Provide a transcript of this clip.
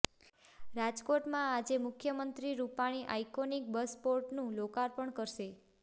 રાજકોટમાં આજે મુખ્યમંત્રી રૂપાણી આઈકોનિક બસપોર્ટનું લોકાર્પણ કરશે